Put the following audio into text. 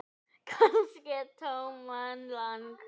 Kannski Thomas Lang.?